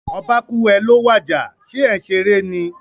Oba kúú, è è ló wàjà, sé é n seré ni?